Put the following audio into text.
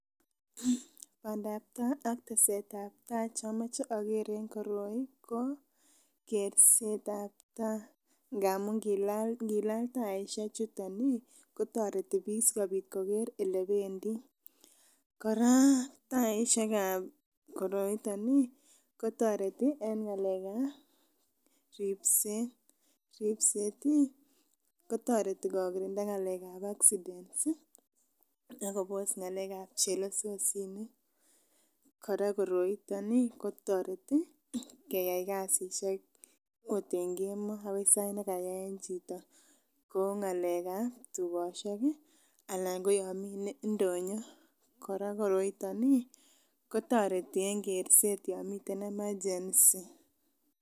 Bandaptaa ak tesetab taa chomoche oker en koroi ko kersetab taa amun ngilal taisiek chuton ih kotoreti biik sikoker elebendii, kora taisiek ab koroiton ih kotoreti en ng'alek ab ripset, ripset ih kotoreti kokirinda ng'alek ab accident ih akobos ng'alek ab chelesosinik. Kora koroiton ih kotoreti keyai kasisiek akot en kemoo akoi sait nekayaen chito kou ng'alek ab tugosiek ih anan ko yon mii ndonyo. Kora koroiton ih kotoreti en kerset yan miten emergency